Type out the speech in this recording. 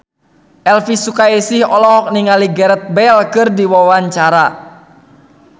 Elvy Sukaesih olohok ningali Gareth Bale keur diwawancara